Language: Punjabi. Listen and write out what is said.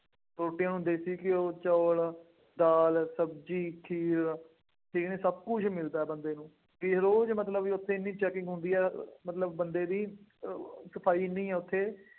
ਛੋਟੇ ਹੁੰਦੇ ਸੀਗੇ ਉਦੋਂ ਚੌਲ, ਦਾਲ, ਸ਼ਬਜ਼ੀ, ਖੀਰ ਅਤੇ ਇਹ ਸਭ ਕੁੱਛ ਮਿਲਦਾ ਬੰਦੇ ਨੂੰ. ਫੇਰ ਉਹ ਜਿਹੜਾ ਮਲਤਬ ਬਈ ਉੱਥੇ ਐਨੀ checking ਹੁੰਦੀ ਹੈ, ਮਤਲਬ ਬੰਦੇ ਦੀ ਅਹ ਖਪਾਈ ਐਨੀ ਆ ਉੱਥੇ